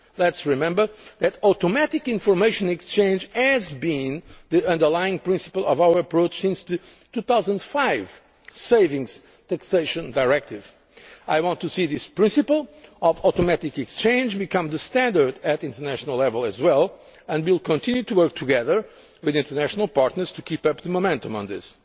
Let us remember that automatic information exchange has been the underlying principle of our approach since the 2005 Savings Taxation Directive. I want to see this principle of automatic exchange become the standard at international level as well, and we will continue to work together with international partners to keep up the momentum